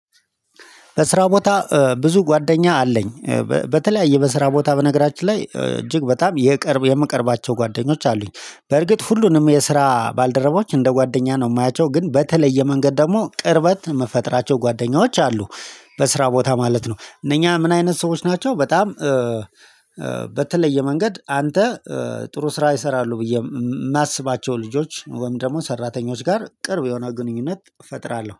በስራ ቦታ ብዙ ጓደኛ አለኝ። በተለያየ በስራ ቦታ በነገራችን ላይ እጅግ በጣም የቅርብ የምቀርባቸው ጓደኞች አሉኝ። በርግጥ ሁሉንም የስራ ባልደረቦች እንደ ጓደኛ ነው የማያቸው ግን በተለየ መንገድ ደግሞ ቅርበት መፈጥራቸው ጓደኛዎች አሉ። በስራ ቦታ ማለት ነው እነኛ ምን አይነት ሰዎች ናቸው? በጣም በተለየ መንገድ አንተ ጥሩ ስራ ይሰራሉ ብዬ የማስባቸው ልጆች ወይም ደግሞ ሰራተኞች ጋር ቅርብ የሆነ ግንኙነት እፈጥራለሁ